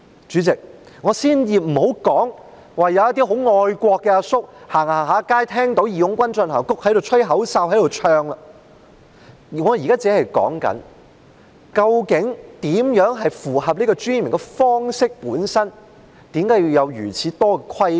主席，先不說一些愛國的大叔在街上聽到"義勇軍進行曲"便不禁吹起口哨和高歌，我現在說的是，對於怎樣才符合其尊嚴的方式這一點，為何要有如此多的規管？